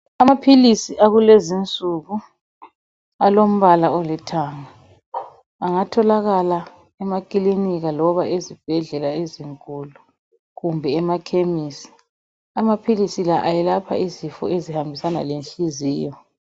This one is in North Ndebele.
Amapills awalezi insuku alambala olithanga angatholakala emacliniki loba ezibhedlela ezinkulu kumbe emakhemisi amapills la ayelapha izifo ezihambisana le nhliziyo